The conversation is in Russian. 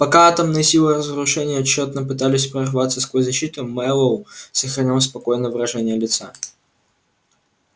пока атомные силы разрушения тщетно пытались прорваться сквозь защиту мэллоу сохранял спокойное выражение лица